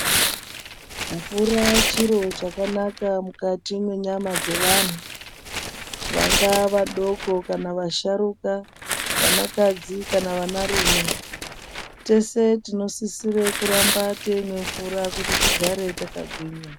Mvura chiro chakanaka mukati mwenyama dzevantu, vangaa vadoko kana vasharuka vanakadzi kana vanarume. Tese tinosisire kuramba teimwe mvura kuti tigare takagwinya.